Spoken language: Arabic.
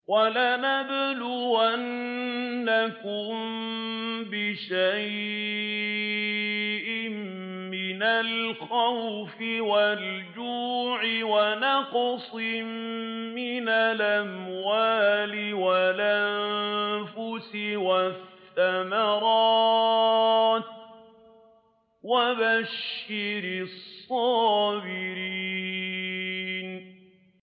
وَلَنَبْلُوَنَّكُم بِشَيْءٍ مِّنَ الْخَوْفِ وَالْجُوعِ وَنَقْصٍ مِّنَ الْأَمْوَالِ وَالْأَنفُسِ وَالثَّمَرَاتِ ۗ وَبَشِّرِ الصَّابِرِينَ